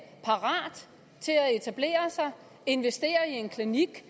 etablere sig investere i en klinik